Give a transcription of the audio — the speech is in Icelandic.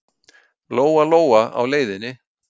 Lóa-Lóa á leiðinni.